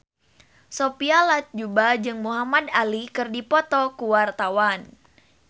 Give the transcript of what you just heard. Sophia Latjuba jeung Muhamad Ali keur dipoto ku wartawan